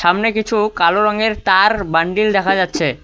সামনে কিছু কালো রঙের তার বান্ডিল দেখা যাচ্ছে।